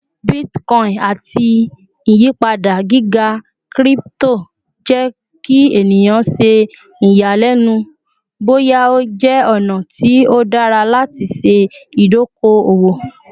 Bitcoin ati iyipada giga crypto jẹ ki eniyan ṣe iyalẹnu boya o jẹ ọna ti o dara lati ṣe idoko-owo